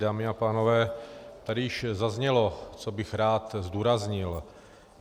Dámy a pánové, tady již zaznělo, co bych rád zdůraznil.